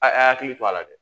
A y'a hakili to a la dɛ